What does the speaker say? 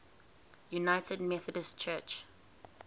united methodist church